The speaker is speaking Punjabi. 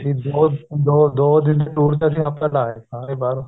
ਦੋ ਦੋ ਦੋ ਦਿਨ ਦੇ tour ਤੇ ਅਸੀਂ ਹਫਤਾ ਲਾ ਆਏ ਸਾਰੇ ਬਾਰੇ